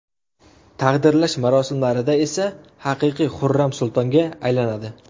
Taqdirlash marosimlarida esa haqiqiy Xurram sultonga aylanadi.